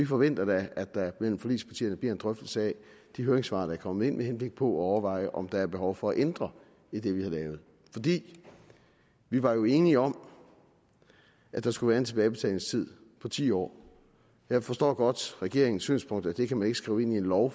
forventer at der blandt forligspartierne bliver en drøftelse af de høringssvar der er kommet ind med henblik på at overveje om der er behov for at ændre i det vi har lavet vi var jo enige om at der skulle være en tilbagebetalingstid på ti år jeg forstår godt regeringens synspunkt nemlig at det kan man ikke skrive ind i en lov